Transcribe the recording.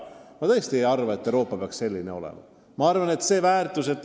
Ma tõesti ei arva, et Euroopa peaks selline olema.